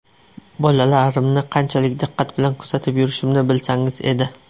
Bolalarimni qanchalik diqqat bilan kuzatib yurishimni bilsangiz edi.